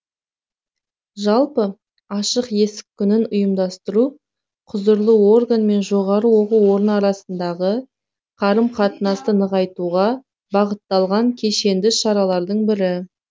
жалпы ашық есік күнін ұйымдастыру құзырлы орган мен жоғары оқу орны арасындағы қарым қатынасты нығайтуға бағытталған кешенді шаралардың бірі